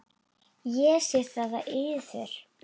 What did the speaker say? Ég sé það á yður.